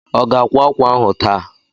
Ọ ga-akwá ákwà ahụ taa?